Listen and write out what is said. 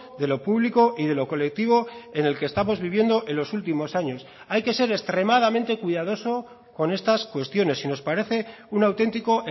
de lo público y de lo colectivo en el que estamos viviendo en los últimos años hay que ser extremadamente cuidadoso con estas cuestiones y nos parece un auténtico